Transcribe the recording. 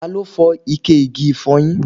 Ta ló fọ ike igi ifoyin?